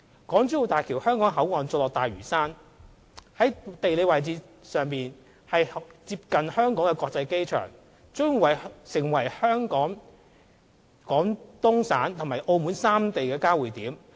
港珠澳大橋香港口岸座落大嶼山，地理位置上接近香港國際機場，將成為香港、廣東省和澳門三地的交匯點。